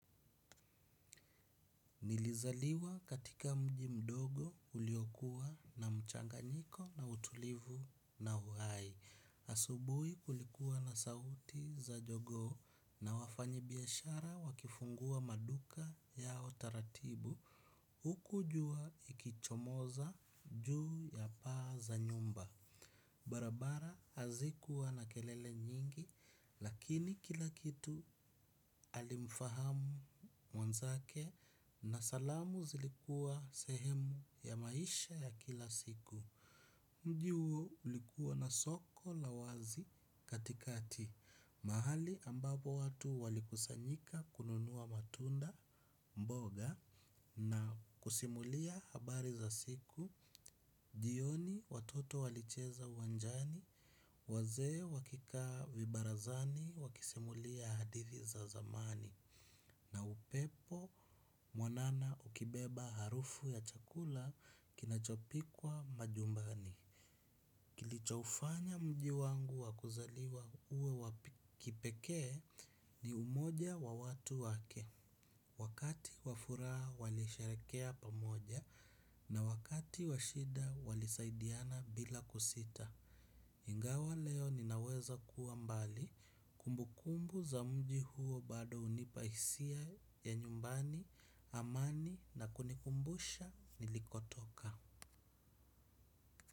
Nilizaliwa katika mji mdogo uliokua na mchanganyiko na utulivu na uhai. Asubui kulikuwa na sauti za jogoo na wafanyibiyashara wakifungua maduka yao taratibu. Uku jua ikichomoza juu ya paa za nyumba. Barabara hazikuwa na kelele nyingi lakini kila kitu alimfahamu mwanzake na salamu zilikua sehemu ya maisha ya kila siku. Mji uo ulikuwa na soko la wazi katikati, mahali ambapo watu walikusanyika kununua matunda mboga na kusimulia habari za siku, jioni watoto walicheza uwanjani, wazee wakikaa vibarazani, wakisimulia hadithi za zamani, na upepo mwanana ukibeba harufu ya chakula kinachopikwa majumbani. Kilichoufanya mji wangu wakuzaliwa uwe wapi kipekee ni umoja wa watu wake. Wakati wafuraa walisherekea pamoja na wakati wa shida walisaidiana bila kusita. Ingawa leo ninaweza kuwa mbali kumbu kumbu za mji huo bado unipa isia ya nyumbani amani na kunikumbusha nilikotoka.